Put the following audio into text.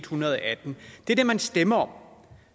hundrede og atten det er det man stemte om